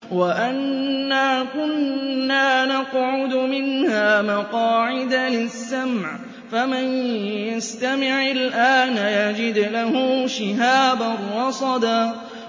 وَأَنَّا كُنَّا نَقْعُدُ مِنْهَا مَقَاعِدَ لِلسَّمْعِ ۖ فَمَن يَسْتَمِعِ الْآنَ يَجِدْ لَهُ شِهَابًا رَّصَدًا